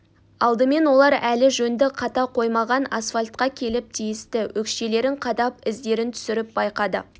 алдымен олар әлі жөнді қата қоймаған асфальтқа келіп тиісті өкшелерін қадап іздерін түсіріп байқады